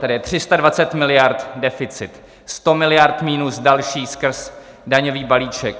Tady je 320 miliard deficit, 100 miliard minus další skrz daňový balíček.